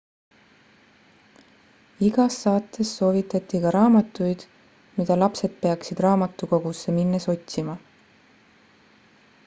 igas saates soovitati ka raamatuid mida lapsed peaksid raamatukogusse minnes otsima